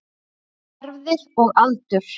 Erfðir og aldur